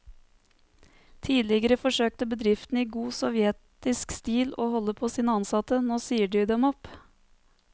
Tidligere forsøkte bedriftene i god sovjetisk stil å holde på sine ansatte, nå sier de dem opp.